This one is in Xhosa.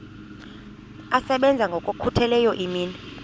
asebenza ngokokhutheleyo imini